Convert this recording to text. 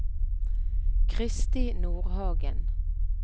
Kristi Nordhagen